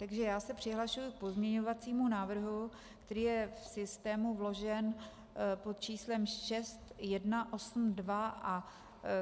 Takže já se přihlašuji k pozměňovacímu návrhu, který je v systému vložen pod číslem 6182, a